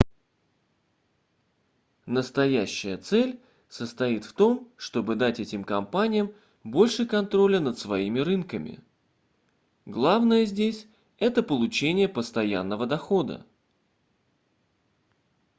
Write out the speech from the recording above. настоящая цель состоит в том чтобы дать этим компаниям больше контроля над своими рынками главное здесь это получение постоянного дохода